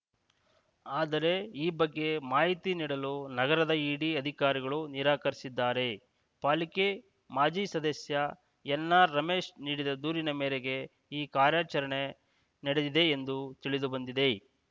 ಆದರೆ ಈ ಬಗ್ಗೆ ಮಾಹಿತಿ ನೀಡಲು ನಗರದ ಇಡಿ ಅಧಿಕಾರಿಗಳು ನಿರಾಕರಿಸಿದ್ದಾರೆ ಪಾಲಿಕೆ ಮಾಜಿ ಸದಸ್ಯ ಎನ್‌ಆರ್‌ರಮೇಶ್‌ ನೀಡಿದ ದೂರಿನ ಮೇರೆಗೆ ಈ ಕಾರ್ಯಾಚರಣೆ ನಡೆದಿದೆ ಎಂದು ತಿಳಿದುಬಂದಿದೆ